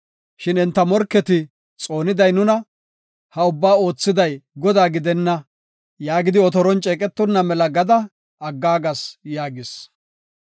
Shin enta morketi, ‘Xooniday nuna; ha ubbaa oothiday Godaa gidenna; yaagidi otoron ceeqetonna mela gada aggaagas’ ” yaagis.